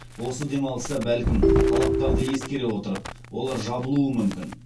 осы демалыста бәлкім талаптарды ескере отырып олар жабылуы мүмкін